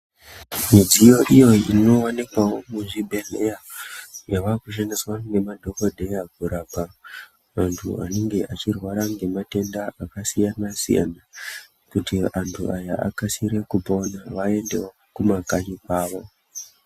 Midziyo iyo inoonekwavo muzvibhedhleya yava kushandiswa nemadhogodheya kurapa vantu vanenge vachirwara ngematenda akasiyana-siyana. Kuti antu aya vakasire kupona vaendevo kumakanyi kwavo.